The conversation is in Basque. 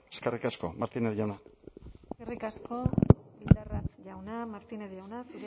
eskerrik asko martínez jauna eskerrik asko bildarratz jauna martínez jauna